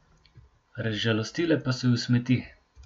Razžalostile pa so ju smeti.